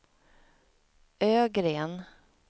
Ögren